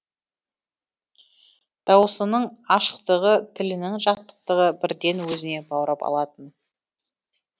дауысының ашықтығы тілінің жатықтығы бірден өзіне баурап алатын